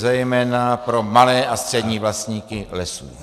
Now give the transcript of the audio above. - zejména pro malé a střední vlastníky lesů.